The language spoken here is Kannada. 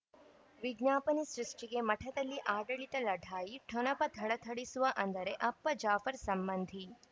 ವಿಜ್ಞಾಪನೆ ಸೃಷ್ಟಿಗೆ ಮಠದಲ್ಲಿ ಆಡಳಿತ ಲಢಾಯಿ ಠೊಣಪ ಥಳಥಳಿಸುವ ಅಂದರೆ ಅಪ್ಪ ಜಾಫರ್ ಸಂಬಂಧಿ